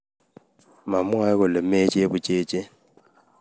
mamwae kole mei chebuchechet